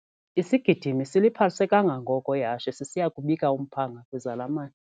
Isigidimi siliphalise kangangoko ihashe sisiya kubika umphanga kwizalamane.